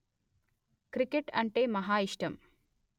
cricket అంటే మహా ఇష్టం